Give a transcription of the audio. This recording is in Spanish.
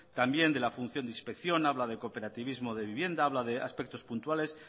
también de la función de inspección habla de cooperativismo de vivienda habla de aspectos puntuales